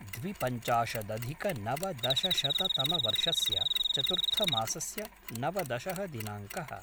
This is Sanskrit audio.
द्विपञ्चाशदधिकनवदशशततमवर्षस्य चतुर्थमासस्य नवदशः दिनाङ्कः